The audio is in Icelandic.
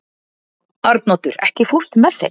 Arnoddur, ekki fórstu með þeim?